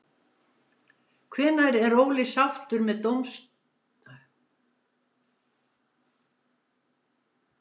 Hvenær er Óli sáttur með dómgæsluna?